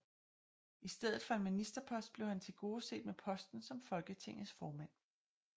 I stedet for en ministerpost blev han tilgodeset med posten som Folketingets formand